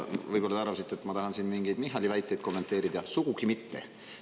Võib-olla te arvasite, et ma tahan siin mingeid Michali väiteid kommenteerida, sugugi mitte.